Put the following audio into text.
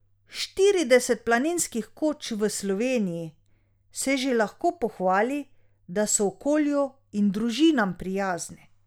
Štirideset planinskih koč v Sloveniji se že lahko pohvali, da so okolju in družinam prijazne.